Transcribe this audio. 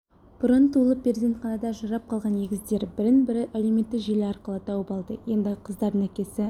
бұрын туылып перзентханада ажырап қалған егіздер бірін-бірі әлеуметтік желі арқылы тауып алды енді қыздардың әкесі